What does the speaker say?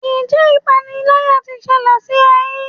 Ǹjẹ́ ipániláyà tí ṣẹlẹ̀ sí ọ rí?